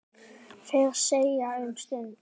Þeir þegja um stund.